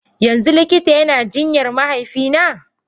Yanzu likita yana jinyar mahaifina?